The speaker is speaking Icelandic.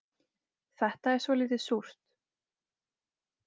Þetta er svolítið súrt